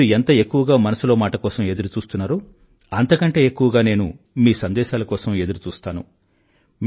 మీరు ఎంత ఎక్కువగా మనసులో మాట కోసం ఎదురుచూస్తారో అంతకంటే ఎక్కువగా నేను మీ సందేశాల కోసం ఎదురుచూస్తాను